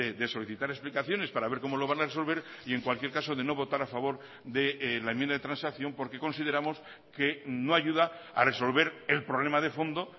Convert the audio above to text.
de solicitar explicaciones para ver como lo van a resolver y en cualquier caso de no votar a favor de la enmienda de transacción porque consideramos que no ayuda a resolver el problema de fondo